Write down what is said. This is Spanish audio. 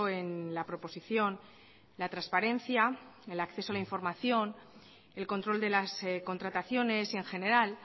en la proposición la transparencia el acceso a la información el control de las contrataciones y en general